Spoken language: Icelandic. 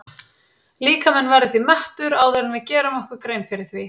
Líkaminn verður því mettur áður en við gerum okkur grein fyrir því.